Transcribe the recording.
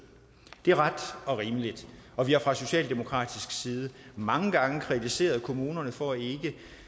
det er ret og rimeligt og vi har fra socialdemokratisk side mange gange kritiseret kommunerne for ikke